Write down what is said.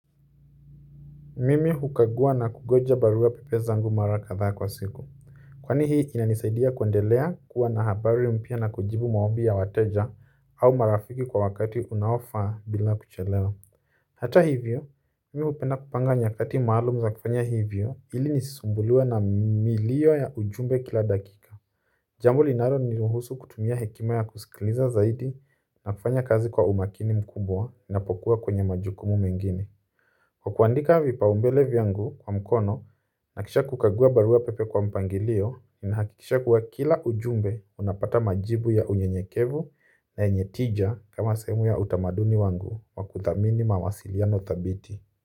Mimi hukagua na kungoja barua pepe zangu mara kadhaa kwa siku kwani hii inanisaidia kuendelea kuwa na habari mpya na kujibu maombi ya wateja au marafiki kwa wakati unaofaa bila kuchelewa hata hivyo, mimi hupenda kupanga nyakati maalumu za kufanya hivyo ili nisisumbuliwe na milio ya ujumbe kila dakika jambo linalo niruhusu kutumia hekima ya kusikiliza zaidi na kufanya kazi kwa umakini mkubwa ninapokua kwenye majukumu mengine kwa kuandika vipaumbele vyangu kwa mkono na kisha kukagua barua pepe kwa mpangilio, ninahakikisha kuwa kila ujumbe unapata majibu ya unyenyekevu na yenye tija kama sehemu ya utamaduni wangu wa kuthamini mawasiliano thabiti.